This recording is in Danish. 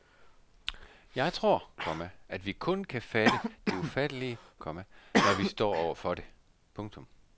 Jeg tror, komma at vi kun kan fatte det ufattelige, komma når vi står over for det. punktum